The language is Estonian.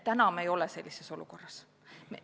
Praegu me ei ole sellises olukorras.